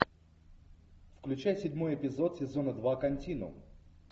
включай седьмой эпизод сезона два континуум